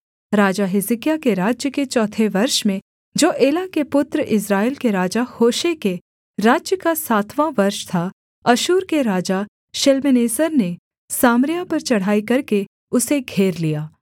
राजा हिजकिय्याह के राज्य के चौथे वर्ष में जो एला के पुत्र इस्राएल के राजा होशे के राज्य का सातवाँ वर्ष था अश्शूर के राजा शल्मनेसेर ने सामरिया पर चढ़ाई करके उसे घेर लिया